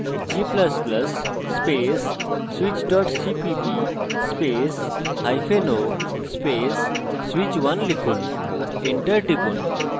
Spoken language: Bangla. g ++ space switch cpp spaceo space switch1 লিখুন enter টিপুন